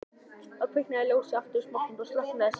Þá kviknaði ljósið aftur í smástund og slökknaði síðan.